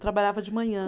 Trabalhava de manhã.